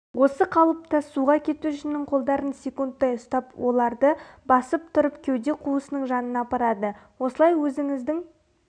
осы қалыпта суға кетушінің қолдарын секундтай ұстап оларды басып тұрып кеуде қуысының жанына апарады осылай өзіңіздің